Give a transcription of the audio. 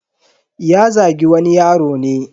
Ya Zagi wani yaro ne.